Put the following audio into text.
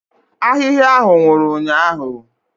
Ahịhịa ahụ nwụrụ ụnyahụ.